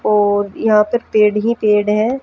और यहां पे पेड़ ही पेड़ है।